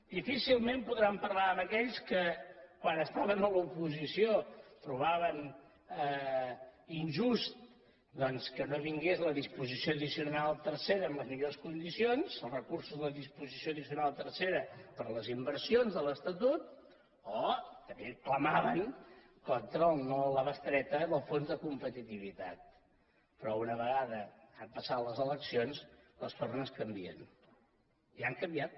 difícilment podran parlar amb aquells que quan estaven a l’oposició trobaven injust doncs que no vingués la disposició addicional tercera en les millors condicions els recursos de la disposició addicional tercera per les inversions de l’estatut o també clamaven contra el no a la bestreta del fons de competitivitat però una vegada han passat les eleccions les tornes canvien ja han canviat